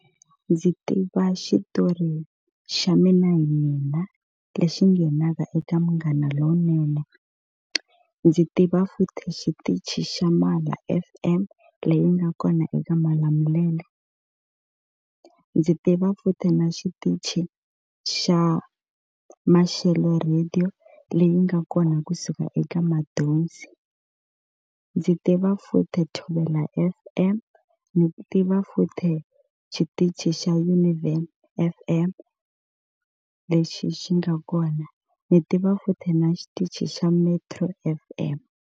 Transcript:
Ndzi tiva xitori xa Mina Hi Mina lexi nghenaka eka Munghana Lonene. Ndzi tiva futhi xitichi xa Mala F_M leyi nga kona eka Malamulele. Ndzi tiva futhi na xitichi xa Maxelo radio leyi nga kona kusuka eka Madonsi. Ndzi tiva futhi Thobela F_M, ni tiva futhi xitichi xa Univen F_M lexi xi nga kona. Ni tiva futhi na xitichi xa Metro F_M.